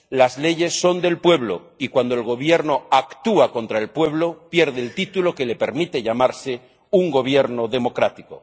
Las leyes son del pueblo y cuando el gobierno actúa contra el pueblo pierde el título que le permite llamarse un gobierno democrático.